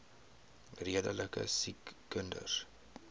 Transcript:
redelike siek kinders